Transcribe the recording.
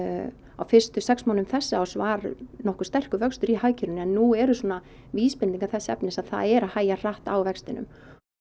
á fyrstu sex mánuðum þessa árs var nokkuð sterkur vöxtur í hagkerfinu en nú eru svona vísbendingar þess efnis að það er hægja hratt á vextinum